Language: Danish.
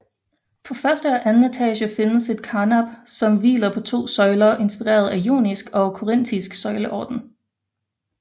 På første og anden etage findes et karnap som hviler på to søjler inspireret af jonisk og korintisk søjleorden